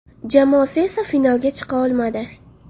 Jamoasi esa finalga chiqa olmadi.